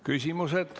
Küsimused.